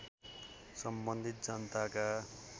सम्बन्धित जनताका